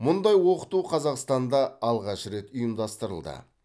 мұндай оқыту қазақстанда алғаш рет ұйымдастырылды